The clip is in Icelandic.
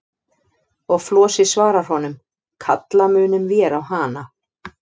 Og Flosi svarar honum: Kalla munum vér á hana.